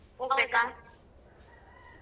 ಹೋಗ್ಬೇಕಾ?